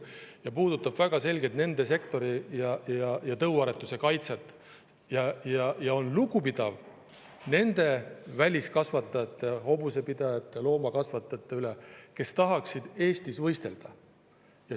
See puudutab väga selgelt selle sektori ja tõuaretuse kaitset ning on lugupidav nende väliskasvatajate, hobusepidajate, loomakasvatajate suhtes, kes tahaksid Eestis võistelda.